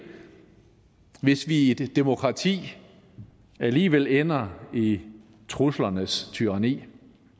hvis vi i et demokrati alligevel ender i truslernes tyranni